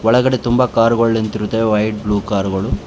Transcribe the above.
ಒಳಗಡೆ ತುಂಬಾ ಕಾರ್ಗಳ್ ನಿಂತಿರುತವೇ ವೈಟ್ ಬ್ಲೂ ಕಾರ್ ಗಳು.